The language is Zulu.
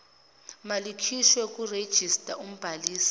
malikhishwe kwirejista umbhalisi